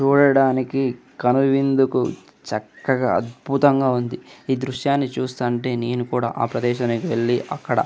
చూడడానికి కనువిందుకు చక్కగా అద్భుతంగా ఉంది. ఈ దృశ్యాన్ని చూస్తుంటే నేను కూడా ఆ ప్రదేశానికి వెళ్లి అక్కడ --